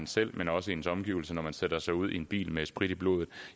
selv men også ens omgivelser løber når man sætter sig ud i en bil med sprit i blodet